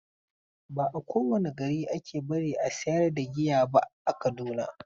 Ba a kowane gari ake bari a sayar da giya ba a Kaduna.